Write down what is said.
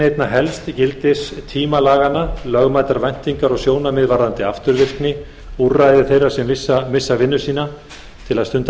einna helst gildistíma laganna lögmætar væntingar og sjónarmið varðandi afturvirkni úrræði þeirra sem missa vinnu sína til að stunda